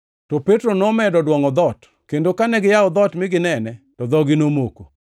To Petro nomedo dwongʼo dhoot, kendo kane giyawo dhoot mi ginene, to dhogi nomoko.